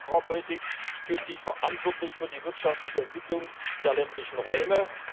Das heißt, Agrarpolitik fühlt sich verantwortlich für die wirtschaftliche Entwicklung der ländlichen Räume.